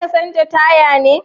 Za ka canja taya ne?